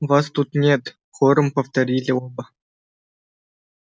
вас тут нет хором повторили оба